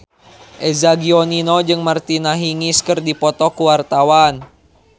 Eza Gionino jeung Martina Hingis keur dipoto ku wartawan